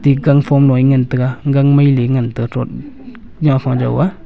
ate gangphom lo e ngan taga gang mailey ee ngan taga throt ngapha jo a.